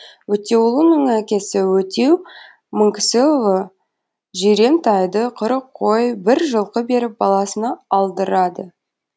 өтеуұлының әкесі өтеу мыңкісіұлы жирен тайды қырық қой бір жылқы беріп баласына алдырады